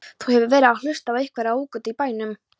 Þú hefur verið að hlusta á einhverjar rógtungur í bænum!